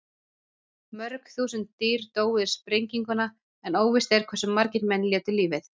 Mörg þúsund dýr dóu við sprenginguna en óvíst er hversu margir menn létu lífið.